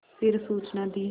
फिर सूचना दी